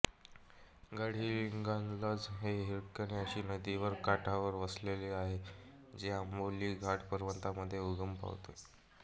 गडहिंग्लज हे हिरण्यकेशी नदीच्या काठावर वसलेले आहे जे आंबोली घाट पर्वतरांगांमध्ये उगम पावते